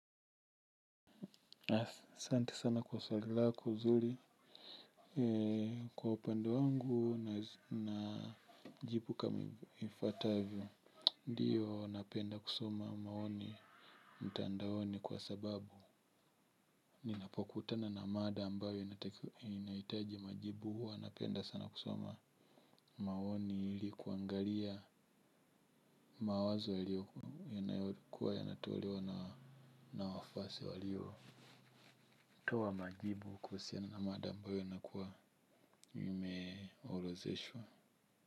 Asante sana kwa swali zuli. Kwa opande wangu na jibu kama ifautavyo. Ndiyo napenda kusoma maoni mtandaoni kwa sababu ninapokutana na mada ambayo inaitaji majibu hua napenda sana kusoma maoni ili kuangalia mawazo yanayokua yanatolewa na wafase walio toa majibu kuusiana na mada ambayo nakuwa imeorotheshwa.